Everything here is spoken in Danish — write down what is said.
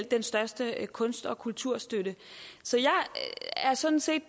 den største kunst og kulturstøtte så jeg er sådan set